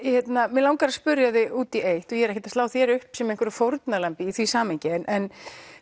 mig langar að spyrja þig út í eitt og ég er ekkert að slá þér upp sem einhverju fórnarlambi í því samhengi en